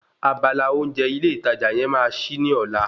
Abala oúnjẹ ilé ìtajà yẹn máa ṣí ní ọ̀la